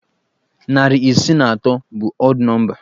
Narị isii na atọ bụ ọd nọmba.